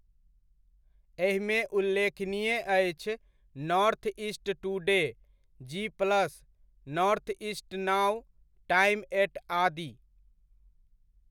एहिमे उल्लेखनीय अछि North East Today, G Plus, Northeast Now, Time Eight आदि।